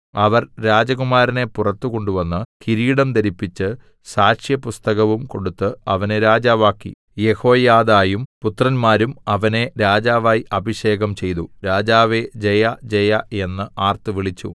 അവർ രാജകുമാരനെ പുറത്ത് കൊണ്ടുവന്ന് കിരീടം ധരിപ്പിച്ച് സാക്ഷ്യപുസ്തകവും കൊടുത്ത് അവനെ രാജാവാക്കി യെഹോയാദയും പുത്രന്മാരും അവനെ രാജാവായി അഭിഷേകം ചെയ്തു രാജാവേ ജയജയ എന്ന് ആർത്തുവിളിച്ചു